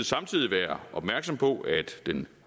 samtidig være opmærksom på at den